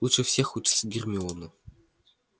лучше всех учится гермиона